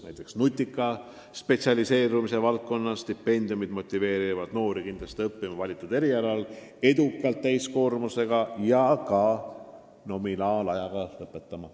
Näiteks nutika spetsialiseerumise valdkonna stipendiumid motiveerivad noori kindlasti õppima valitud erialal edukalt täiskoormusega ja ka nominaalajaga lõpetama.